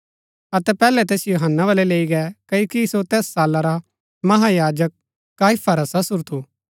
अतै पैहलै तैसिओ हन्ना बलै लैई गै क्ओकि सो तैस साला रा महायाजक काइफा रा ससुर थू